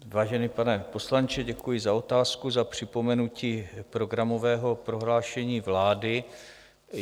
Vážený pane poslanče, děkuji za otázku, za připomenutí programového prohlášení vlády.